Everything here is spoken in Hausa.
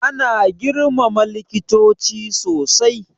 Ana girmama likitoci sosai.